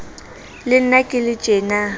le nna ke le tjena